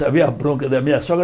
Só vi a bronca da minha sogra